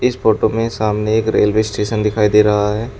इस फोटो में सामने एक रेलवे स्टेशन दिखाई दे रहा है।